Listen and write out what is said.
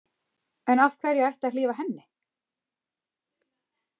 En af hverju ætti að hlífa henni?